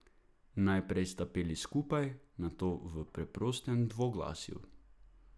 Najprej sta peli skupaj, nato v preprostem dvoglasju.